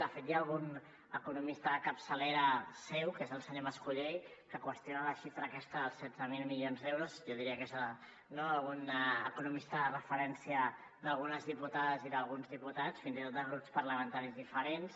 de fet hi ha algun economista de capçalera seu que és el senyor mas colell que qüestiona la xifra aquesta dels setze mil milions d’euros jo diria que un economista de referència d’algunes diputades i d’alguns diputats fins i tot de grups parlamentaris diferents